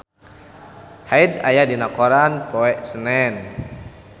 Hyde aya dina koran poe Senen